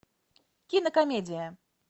кинокомедия